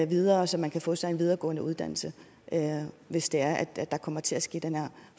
videre så man kan få sig en videregående uddannelse hvis det er at der kommer til at ske den her